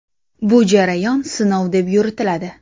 Bu jarayon sinov deb yuritiladi.